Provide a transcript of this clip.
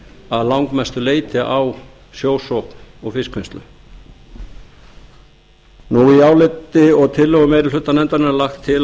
að langmestu leyti á sjósókn og fiskvinnslu í áliti og tillögum meiri hluta nefndarinnar er lagt til